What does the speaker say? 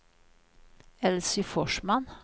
Elsy Forsman